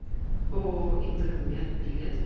ооо интермед билет